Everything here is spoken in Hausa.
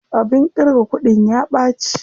Abin ƙirga kuɗin ya ɓaci.